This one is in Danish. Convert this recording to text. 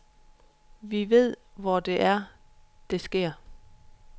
Vi ved, hvor det er, det sker.